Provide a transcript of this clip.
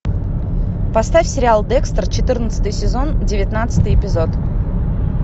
поставь сериал декстер четырнадцатый сезон девятнадцатый эпизод